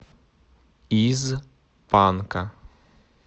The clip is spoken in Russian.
из панка